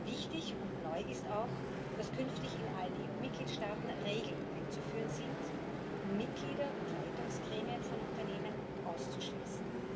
Wichtig und neu ist auch, dass künftig in allen EU Mitgliedstaaten Regeln einzuführen sind, um Mitglieder und Leitungsgremien von Unternehmen auszuschließen.